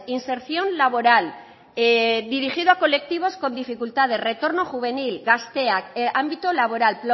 inserción laboral dirigido a colectivos con dificultades retorno juvenil gazteak ámbito laboral